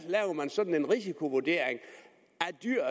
man laver sådan en risikovurdering af dyr